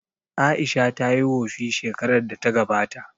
Aisha tayi wofi shekarar da ta gabata